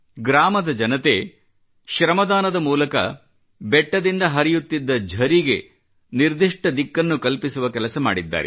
ಗ್ರಾಮ ಜನತೆ ಶ್ರಮದಾನದ ಮೂಲಕ ಬೆಟ್ಟದಿಂದ ಹರಿಯುತ್ತಿದ್ದ ಝರಿಗೆ ನಿರ್ದಿಷ್ಟ ದಿಕ್ಕನ್ನು ಕಲ್ಪಿಸುವ ಕೆಲಸ ಮಾಡಿದ್ದಾರೆ